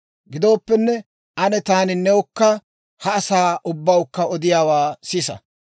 Gidooppenne, ane taani newukka ha asaa ubbawukka odiyaawaa sisa.